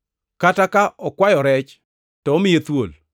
Kata ka okwayo rech to omiye thuol?